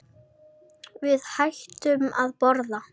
Við hættum að borða.